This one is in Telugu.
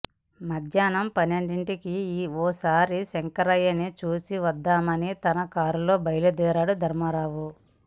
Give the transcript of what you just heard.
మధ్యాహ్నం పనె్నండింటికి ఓసారి శంకరయ్యని చూసి వద్దామని తన కారులో బయల్దేరాడు ధర్మారావు